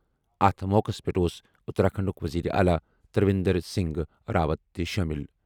اَتھ موقعَس پٮ۪ٹھ اوس اتراکھنڈُک وزیر اعلیٰ ترویندر سنگھ راوت تہِ شٲمِل۔